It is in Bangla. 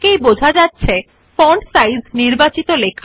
you see that the font of the selected text changes